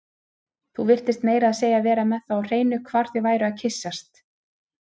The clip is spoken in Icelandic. Þú virtist meira að segja vera með það á hreinu hvar þau væru að kyssast